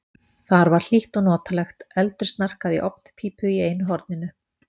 Þar var hlýtt og notalegt, eldur snarkaði í ofnpípu í einu horninu.